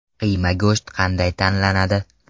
Qiyma go‘sht qanday tanlanadi?